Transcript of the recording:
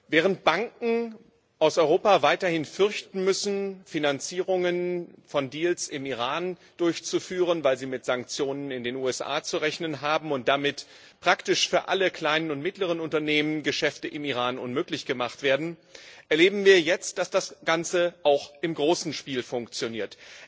Während Banken aus Europa weiterhin fürchten müssen, Finanzierungen von Deals im Iran durchzuführen, weil sie mit Sanktionen in den USA zu rechnen haben, und damit praktisch für alle kleinen und mittleren Unternehmen Geschäfte im Iran unmöglich gemacht werden, erleben wir jetzt, dass das Ganze auch im großen Spiel funktioniert.